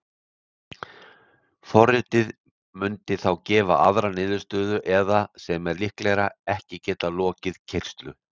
Forritið mundi þá gefa aðra niðurstöðu eða, sem er líklegra, ekki geta lokið keyrslu.